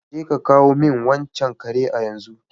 Je ka samo min wancan kare a yenzu!